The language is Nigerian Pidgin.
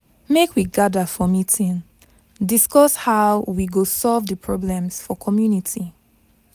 Make we gather for meeting, discuss how we go solve the problems for community.